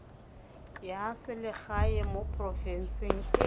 ya selegae mo porofenseng e